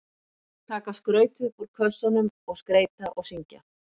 Taka skrautið upp úr kössunum og skreyta og syngja.